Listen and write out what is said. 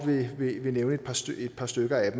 vil nævne et par stykker af